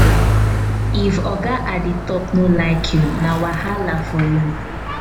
if oga at di top no like you na wahala for you.